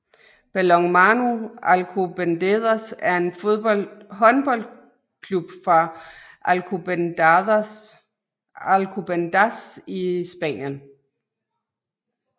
Balonmano Alcobendas er en håndboldklub fra Alcobendas i Spanien